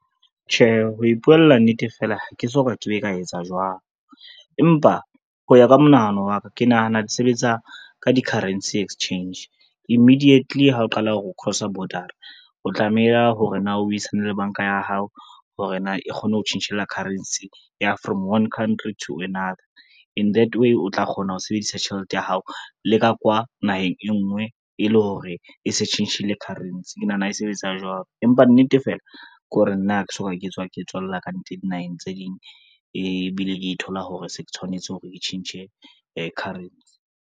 Tjhe, ho ipuela nnete fela ha ke so ka ke be ka etsa jwalo, empa ho ya ka monahano wa ka, ke nahana di sebetsa ka di-currency exchange immidietly ha o qala hore o cross-a border-a, o tlameha hore na o buisane le banka ya hao hore na e kgone ho tjhentjhela currency ya from one country to another in that way o tla kgona ho sebedisa tjhelete ya hao leka kwa naheng e ngwe e le hore e se tjhentjhile currency ke nahana e sebetsa jwalo. Empa nnete fela ke hore nna ha ke so ka ke tswa ke tswella ka ntle dinaheng tse ding, ebile ke thola hore se ke tshwanetse hore ke tjhentjhe currency.